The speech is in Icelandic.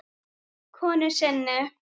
konu sinni.